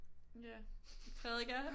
Ja prædiker